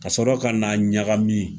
Ka sɔrɔ ka n'a ɲagamin.